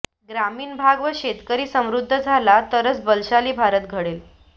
ग्रामीण भाग व शेतकरी समृध्द झाला तरच बलशाली भारत घडेल